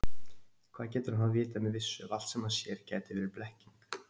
Hvað getur hann þá vitað með vissu, ef allt, sem hann sér, gæti verið blekking?